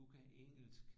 Du kan engelsk